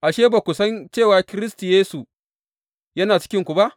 Ashe, ba ku san cewa Kiristi Yesu yana cikinku ba?